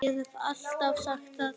Ég hef alltaf sagt það.